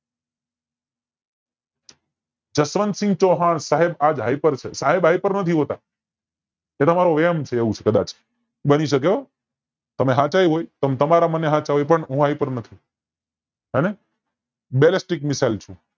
જસવંતસિંહ ચૌહાણ સાહેબ આજ hyper છે સાયબ hyper નથી હોતા એ તમારો વેમ છે એવું છે કદાચ બની શકે હૂં તમે હાચાય હોય તમ તમારે હચ હોય પણ હું hyper નથી હોને belenstic mecile છે